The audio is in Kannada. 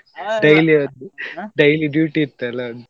Daily ಒಂದು daily duty ಇತ್ತಲ್ಲ.